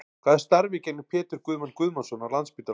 Hvaða starfi gegnir Pétur Guðmann Guðmannsson á Landspítalanum?